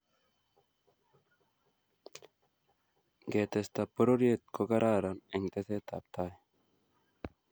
ngetesta pororiet ko kararan eng teset ab tai